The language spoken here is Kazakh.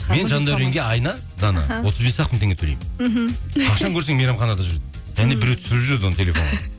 мен жандауренге айына дана отыз бес ақ мың теңге төлеймін мхм қашан көрсең мейрамханада жүреді және біреу түсіріп жүреді оны телефонға